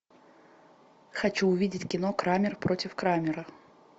хочу увидеть кино крамер против крамера